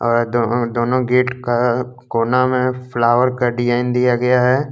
अ दो अ दोनो गेट का कोना में फ्लावर का डिजाइन दिया गया है।